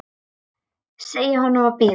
Segja honum að bíða.